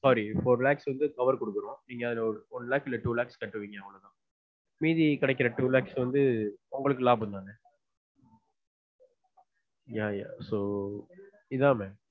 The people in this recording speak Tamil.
Sorry four lakhs க்கு வந்து cover குடுத்துருவொம் அதுல நீங்க வந்து one lakh or two lakhs கட்டுவீங்க மீதி கிடைக்குற two lakhs வந்து உங்களுக்கு லாபம் தானே yeah yeah so இதான